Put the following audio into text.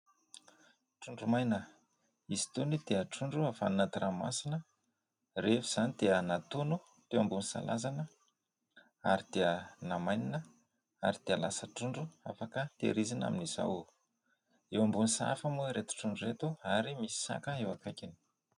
Trondro maina : izy itony dia trondro avy any anaty ranomasina. Rehefa izany dia natono teo ambony salazana ary dia namainina ary dia lasa trondro afaka tehirizina amin'izao. Eo ambony sahafa moa ireto trondro ireto ary misy saka eo akaikiny.